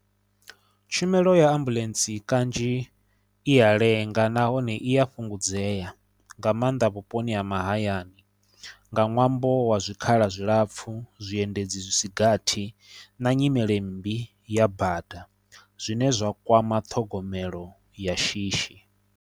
Tshumelo ya ambuḽentse kanzhi i ya lenga nahone i ya fhungudzea nga maanḓa vhuponi ha mahayani nga ṅwambo wa zwikhala zwilapfu, zwiendedzi zwisi gathi na nyimele mmbi ya bada zwine zwa kwama ṱhogomelo ya shishi.